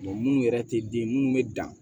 munnu yɛrɛ te den munnu be dan